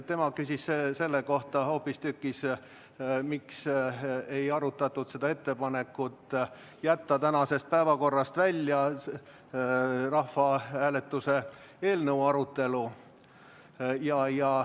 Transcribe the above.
Tema küsis hoopistükkis selle kohta, miks ei arutatud ettepanekut jätta tänasest päevakorrast välja rahvahääletuse eelnõu arutelu.